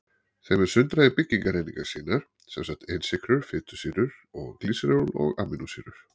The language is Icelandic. Þeim er sundrað í byggingareiningar sínar, sem sagt einsykrur, fitusýrur og glýseról og amínósýrur.